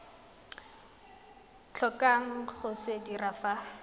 tlhokang go se dira fa